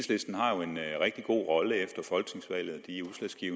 rigtig god rolle efter folketingsvalget de